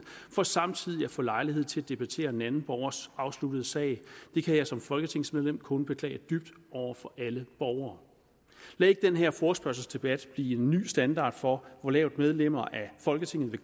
for samtidig at få lejlighed til at debattere en anden borgers afsluttede sag det kan jeg som folketingsmedlem kun beklage dybt over for alle borgere lad ikke den her forespørgselsdebat blive en ny standard for hvor lavt medlemmer af folketinget vil